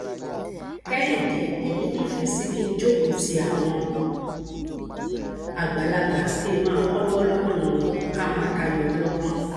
kẹhìndé èmi nífẹẹ sí kí n jókòó ti àwọn àgbàlagbà kí n máa kọgbọn lọdọ wọn ká máa tayọ ọlọpọn